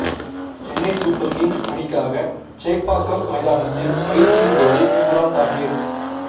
Chennai Super Kings அணிக்காக சேப்பாக்கம் மைதானத்தில் பயிற்சியின் போது இம்ரான் தாஹிர்